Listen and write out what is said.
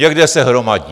Někde se hromadí.